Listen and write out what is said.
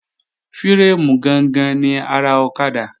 Fírémù gangan ni ara ọ̀kadà